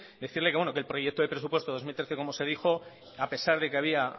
decirle que el proyecto de presupuesto dos mil trece como se dijo a pesar de que había